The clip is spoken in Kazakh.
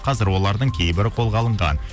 қазір олардың кейбірі қолға алынған